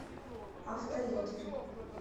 авто лидер